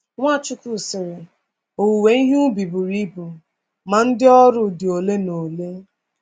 Nwachukwu sịrị: “Owewe ihe ubi buru ibu, ma ndị ọrụ dị ole na ole.